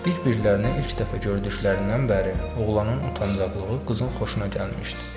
Bir-birlərini ilk dəfə gördüklərindən bəri oğlanın utancaqlığı qızın xoşuna gəlmişdi.